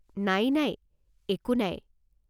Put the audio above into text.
নাই নাই একো নাই।